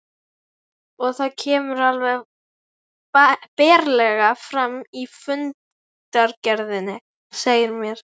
Og það kemur alveg berlega fram í fundargerðinni, segir mér